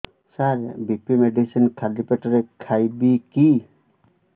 ସାର BP medicine ଖାଲି ପେଟରେ ଖାଇବି କି